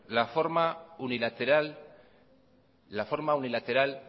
la forma unilateral